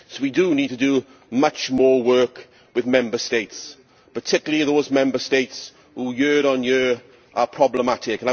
So we do need to do much more work with Member States, particularly those Member States who, year on year, are problematic.